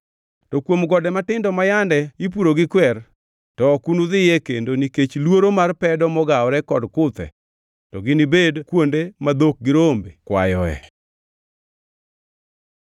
To kuom gode matindo ma yande ipuro gi kwer, to ok unudhie kendo nikech luoro mar pedo mogawore kod kuthe, to ginibed kuonde ma dhok gi rombe kwayoe.